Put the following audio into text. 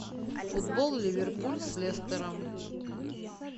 футбол ливерпуль с лестером